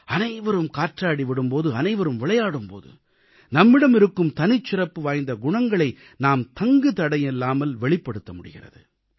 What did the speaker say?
அனைவரும் காற்றாடி விடும் போது அனைவரும் விளையாடும் போது நம்மிடம் இருக்கும் தனிச்சிறப்புவாய்ந்த குணங்களை நாம் தங்குதடையில்லாமல் வெளிப்படுத்த முடிகிறது